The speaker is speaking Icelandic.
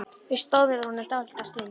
Við stóðum yfir honum dálitla stund.